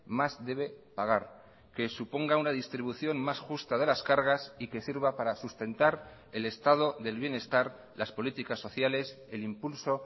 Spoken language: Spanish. más debe pagar que suponga una distribución más justa de las cargas y que sirva para sustentar el estado del bienestar las políticas sociales el impulso